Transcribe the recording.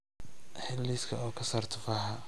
hel liiska oo ka saar tufaaxa